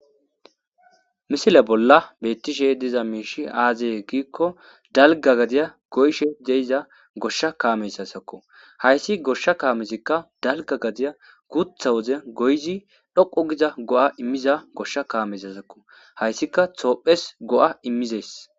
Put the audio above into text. Misile bolla bettishe diza miishi aazaye giikko dalga gadiya goyshe de'iza goshsha kaameyssasakko hayssi goshsha kaamesikka dalga gadiya guutha woze goyzi dhoqo giza go'a immiza goshsha kaameysasakko hayssika toophes go'a immizees.